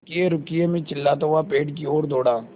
रुकिएरुकिए मैं चिल्लाता हुआ पेड़ की ओर दौड़ा